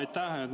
Aitäh!